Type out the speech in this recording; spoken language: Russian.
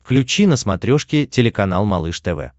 включи на смотрешке телеканал малыш тв